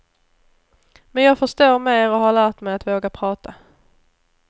Men jag förstår mer och har lärt mig att våga prata.